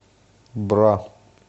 бра